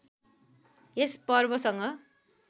यस पर्वसँग